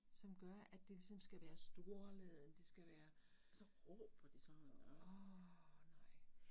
Som gør at det ligesom skal være storladent det skal være åh nej